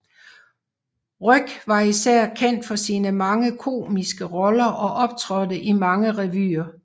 Ryg var især kendt for sine mange komiske roller og optrådte i mange revyer